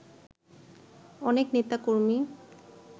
অনেক নেতাকর্মী